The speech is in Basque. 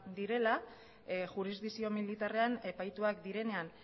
direla jurisdikzio militarrean epaituak direnean